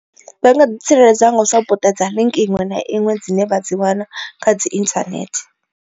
Vha nga ḓi tsireledza nga zwa u puṱedza ḽiinki iṅwe na iṅwe dzine vha dzi wana kha dzi internet.